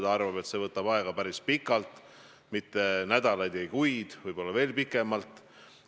Ta arvab, et see võtab aega päris pikalt, mitte nädalaid, vaid kuid, võib-olla läheb veel pikemalt.